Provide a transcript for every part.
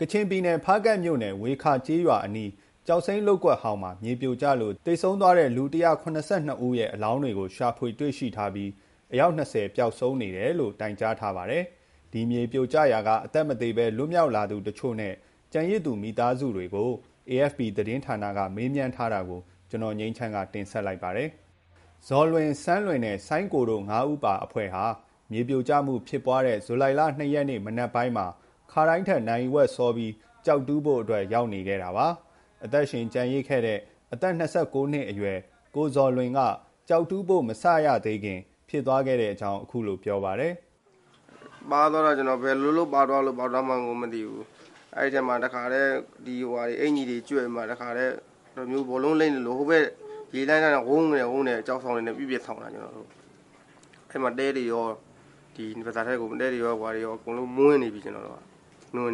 ကချင်ပြည်နယ် ဖားကန့်မြို့နယ် ဝှေခါကျေးရွာအနီး ကျောက်စိမ်းလုပ်ကွက်ဟောင်းမှာ မြေပြိုကျလို့ သေဆုံးသွားတဲ့ လူ ၁၇၂ ဦးရဲ့ အလောင်းကို ရှာဖွေတွေ့ရှိထားပြီး အယောက် ၂၀ ပျောက်ဆုံးနေတယ်လို့ တိုင်ကြားထားပါတယ်။ ဒီမြေပြိုကျရာက အသက်မသေဘဲ လွတ်မြောက်လာသူတချို့နဲ့ ကျန်ရစ်သူ မိသားစုတွေကို AFP သတင်းဌာနက မေးမြန်းထားတာကို ကိုငြိမ်းချမ်း တင်ပြပေးထားပါတယ်။ ဇော်လွင်၊ ဆန်းလွင်နဲ့ စိုင်းကိုတို့ ငါးဦးပါအဖွဲ့ဟာ မြေပြိုမှုဖြစ်ပွားခဲ့တဲ့ ဇူလိုင်လ ၂ ရက်နေ့မှာ ခါတိုင်းထက် နာရီဝက်စောပြီး ကျောက်တူးဖို့အတွက် ရောက်နေခဲ့တာပါ။ အသက်ရှင်ကျန်ရစ်ခဲ့တဲ့ အသက် ၂၉ နှစ်အရွယ် ကိုဇော်လွင်က ကျောက်တူးဖို့ မစရသေးခင် ဖြစ်သွားခဲ့တဲ့အကြောင်း အခုလို ပြောပါတယ်။ “ပါသွားတာ ကျနော် ဘယ်လိုလုပ် ပါသွားလို့ ပါသွားမှန်းကို မသိဘူး။ အဲဒီထဲမှာ အင်္ကျီတွေကျွတ်ပြီး ဘောလုံးလိမ့်သလို ဟိုဘက် ရေလှိုင်းက ဝုန်းခနဲ ဝုန်းခနဲ ကျောက်ဆောင်တွေနဲ့ ပစ်ပစ်ဆောင့်တာ ကျနော်တို့ကို။ အဲဒီမှာ သဲတွေရော ရွှံ့တွေရော ပါးစပ်ထဲမှာ မွမ်းနေပြီ၊ နွံ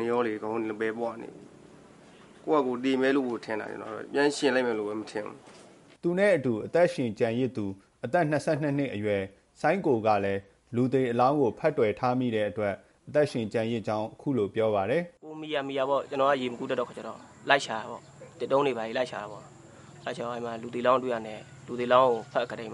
တွေရော အကုန်ပေပွနေပြီ။ ကိုယ့်ဘာသာကိုယ် သေမယ်လို့ကို ထင်တာ၊ ပြန်ရှင်မယ်လို့ကို မထင်ဘူး။” သူနဲ့အတူ အသက်ရှင်ကျန်ရစ်သူ အသက် ၂၂ နှစ်အရွယ် စိုင်းကိုကလည်း လူသေအလောင်းကို ဖက်တွယ်ထားမိတဲ့အတွက် အသက်ရှင်ကျန်ရစ်ကြောင်း အခုလို ပြောပါတယ်။ “ကိုယ်မီရာမီရာ ကျနော်က ရေမကူးတတ်တော့ သစ်တုံးတွေ ဘာတွေ လိုက်ရှာတာပေါ့။ အဲဒီမှာ လူသေအလောင်း တွေ့တာနဲ့ ဖက်တွယ်ပြီး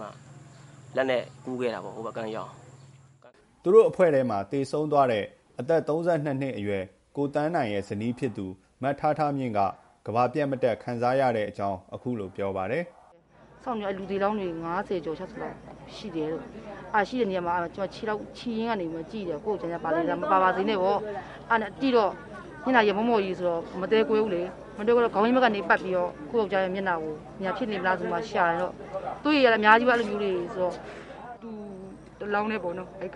လက်နဲ့ကူးခဲ့တာ ဟိုဘက်ကမ်းရောက်အောင်။” သူတို့အဖွဲ့မှာ သေဆုံးသွားတဲ့ အသက် ၃၂ နှစ်အရွယ် ကိုသန်းနိုင်ရဲ့ ဇနီးဖြစ်သူ မထားထားမြင့်က ကမ္ဘာပျက်မတတ် ခံစားရတဲ့အကြောင်း အခုလိုပြောပါတယ်။ “လူသေအလောင်းတွေ ၅၀ ကျော် ၆၀ လောက်ရှိတယ်တဲ့။ ရှိတဲ့နေရာမှာ ကျမ ခြေရင်းကနေ ကြည့်တယ်၊ ကိုယ့်ယောက်ျား ပါနေလား၊ မပါပါစေနဲ့ပေါ့။ အဲဒါနဲ့ ကြည့်တော့ မျက်နှာကြီးက မို့မို့ကြီးဆိုတော့ မသဲကွဲဘူးလေ။ မသဲကွဲတော့ ခေါင်းရင်းဘက်ကနေ ပတ်ပြီးတော့ ကိုယ့်ယောက်ျားရဲ့မျက်နှာများ ဖြစ်နေမလား ဆိုပြီး ရှာတော့၊ သူ့အရွယ်ကလည်း အများကြီးပဲ အဲလိုမျိုးတွေ ရှာတော့ သူ့တလောင်းတည်း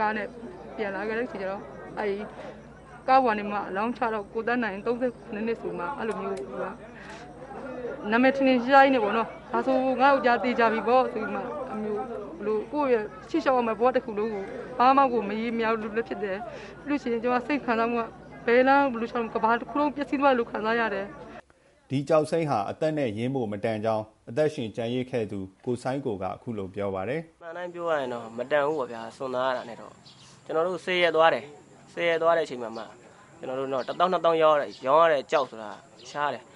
ကားနဲ့ ပြန်လာခဲ့တဲ့အချိန်ကြတော့ ကားပေါ်ကနေ အလောင်းချတော့ ကိုသန်းနိုင်၊ ၃၂ နှစ်ဆိုမှ နာမည် ထင်ထင်ရှားရှားကြီးနဲ့ပေါ့။ ဒါဆို ငါ့ယောကျ်ား သေချာပြီပေါ့ဆိုပြီး ကိုယ့်ရဲ့ ရှေ့လျှောက်ရမယ့် ဘဝတခုလုံး ဘာမှ မရေမရာသလိုလည်း ဖြစ်တယ်။ ပြီးရင် ကျမ စိတ်ခံစားမှုက ဘယ်လမ်းကို ဘယ်လိုလျှောက်ပြီး ကမ္ဘာတခုလုံး ပျက်စီးသွားသလို ခံစားရတယ်။” ဒီကျောက်စိမ်းဟာ အသက်နဲ့ရင်းဖို့ မတန်ကြောင်း အသက်ရှင်ကျန်ရစ်သူ စိုင်းကိုက ပြောပါတယ်။ “အမှန်အတိုင်း ပြောရရင်တော့ မတန်ဘူးပေါ့ဗျာ၊ စွန့်စားရတာနဲ့တော့။ ကျနော်တို့ ၁၀ ရက်သွားတဲ့ အချိန်မှာ တသောင်း နှစ်သောင်း ရောင်းရတဲ့ ကျောက်ဆိုတာက ရှားတယ်။”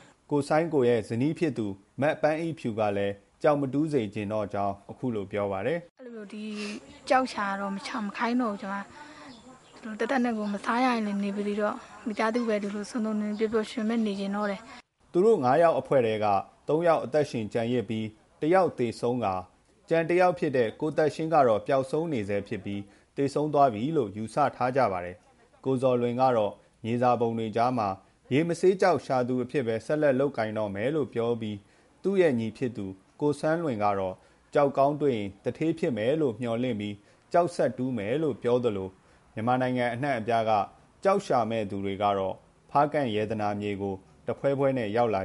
စိုင်းကိုရဲ့ ဇနီးဖြစ်သူ မပန်းအိဖြူကလည်း ကျောက်မတူးစေချင်တော့ကြောင်း အခုလို ပြောပါတယ်။ “အဲဒီလိုမျိုး ကျောက်ရှာတာတော့ မရှာခိုင်းတော့ဘူး။ တသက်နဲ့တကိုယ် မစားရရင်လည်း နေပါစေတော့။ မိသားစု ဒီလို စုံစုံလင်လင် ပျော်ပျော်ရွှင်ရွှင်ပဲ နေချင်တော့တယ်။” သူတို့ငါးယောက်အဖွဲ့ထဲက သုံးယောက် အသက်ရှင်ကျန်ရစ်ပြီး တယောက်သေဆုံးကာ ကျန်တယောက်ဖြစ်တဲ့ ကိုသက်ရှင်းကတော့ ပျောက်ဆုံးနေဆဲဖြစ်ပြီး သေဆုံးပြီလို့ ယူဆထားကြပါတယ်။ ကိုဇော်လွင်ကတော့ မြေစာပုံတွေကြားမှာ ရေမဆေးကျောက်ရှာသူအဖြစ်ပဲ ဆက်လက် လုပ်ကိုင်တော့မယ်လို့ ပြောပြီး သူ့ရဲ့ညီ ကိုဆန်းလွင်ကတော့ ကျောက်ကောင်းတွေ့ရင် သူဌေးဖြစ်မယ်လို့ မျှော်လင့်ပြီး ကျောက်ဆက်တူးမယ်လို့ ပြောသလို မြန်မာနိုင်ငံ အနှံ့အပြားက ကျောက်ရှာမယ့်သူတွေကတော့ ဖားကန့်ရတနာမြေကို တဖွဲဖွဲ ရောက်လာက